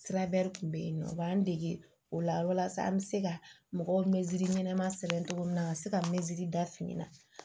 Sirabɛri kun bɛ yen nɔ u b'an dege o la walasa an bɛ se ka mɔgɔw ɲɛnama sɛbɛn cogo min na ka se ka meziri da fini na